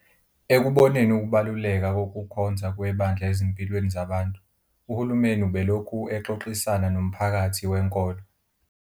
Ekuboneni ukubaluleka kokukhonza kwebandla ezimpilweni zabantu, uhulumeni ubelokhu exoxisana nomphakathi wenkolo.